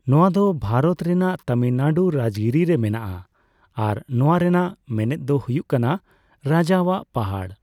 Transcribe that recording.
ᱱᱚᱣᱟ ᱫᱚ ᱵᱷᱟᱨᱚᱛ ᱨᱮᱱᱟᱜ ᱛᱟᱢᱤᱞᱱᱟᱲᱩ ᱨᱟᱡᱜᱤᱨᱤ ᱨᱮ ᱢᱮᱱᱟᱜᱼᱟ ᱟᱨ ᱱᱚᱣᱟ ᱨᱮᱱᱟᱜ ᱢᱮᱱᱮᱫ ᱫᱚ ᱦᱩᱭᱩᱜ ᱠᱟᱱᱟ ᱨᱟᱡᱟᱣᱟᱜ ᱯᱟᱦᱟᱲ ᱾